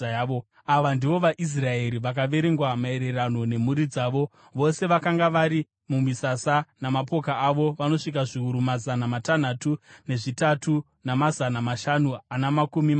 Ava ndivo vaIsraeri vakaverengwa maererano nemhuri dzavo. Vose vakanga vari mumisasa, namapoka avo vanosvika zviuru mazana matanhatu nezvitatu, namazana mashanu ana makumi mashanu.